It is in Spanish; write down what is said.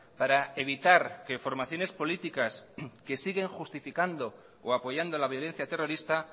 para evitar que formaciones políticas que siguen justificando o apoyando la violencia terrorista